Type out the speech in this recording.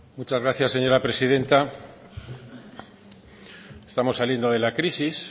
muchas gracias señora presidenta estamos saliendo de la crisis